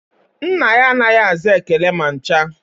Nna ya anaghị aza ekele ma ncha